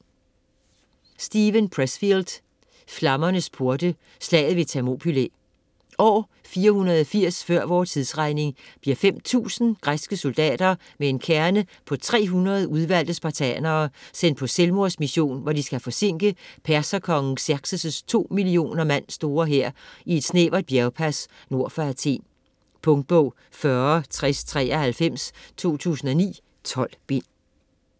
Pressfield, Steven: Flammernes porte: slaget ved Thermopylæ År 480 f.v.t. bliver 5.000 græske soldater med en kerne på 300 udvalgte spartanere sendt på selvmordsmission, hvor de skal forsinke perserkongen Xerxes' 2 millioner mand store hær i et snævert bjergpas nord for Athen. Punktbog 406093 2009. 12 bind.